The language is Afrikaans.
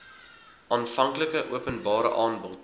aanvanklike openbare aanbod